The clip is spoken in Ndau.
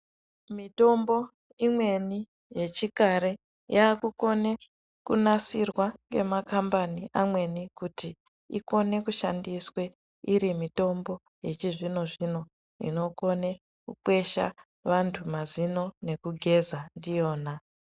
Mitombo imweni yechikare yaakukone kunasirwa ngemakambani amweni kuti ikone kushandiswa iri mitombo yechizvino zvino inokone kukwesha vanthu mazino nekugeza ndiyona.